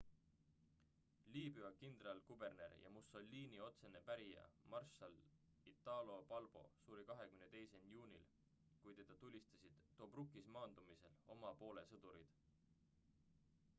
liibüa kindralkuberner ja mussolini otsene pärija marssal italo balbo suri 28 juunil kui teda tulistasid tobrukis maandumisel oma poole sõdurid